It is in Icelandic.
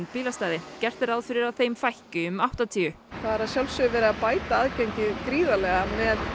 bílastæði gert er ráð fyrir að þeim fækki um áttatíu það er verið að bæta aðgengi gríðarlega með